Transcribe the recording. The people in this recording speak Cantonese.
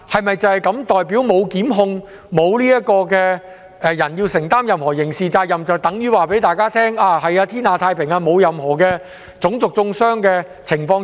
沒有檢控、沒有人須負上任何刑事責任，是否就代表天下太平、沒有任何種族中傷的情況出現？